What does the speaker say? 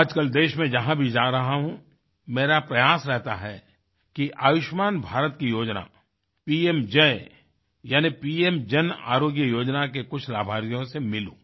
आजकल देश में जहाँ भी जा रहा हूँ मेरा प्रयास रहता है कि आयुष्मान भारत की योजना पीएमजेई यानि पीएम जन आरोग्य योजना के कुछ लाभार्थियों से मिलूं